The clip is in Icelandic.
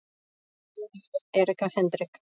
Daginn eftir að Erika Hendrik